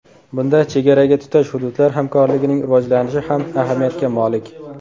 Bunda chegaraga tutash hududlar hamkorligining rivojlanishi ham ahamiyatga molik.